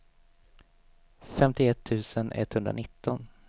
femtioett tusen etthundranitton